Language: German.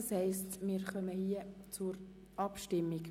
Somit kommen wir zur Abstimmung.